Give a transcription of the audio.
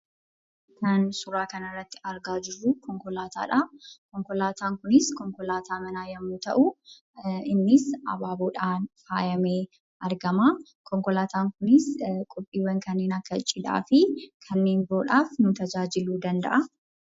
Kan suuraa kanarratti argaa jirru konkolaataadha. Konkolaataan kunis konkolaataa manaa yoo ta'u, innis abaaboodhaan faayamee argama. Konkolaataan kunis qophiiwwan kanneen akka cidhaa fi kanneen biroodhaaf nu gargaaruu danda'a.